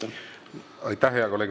Aitäh, hea kolleeg!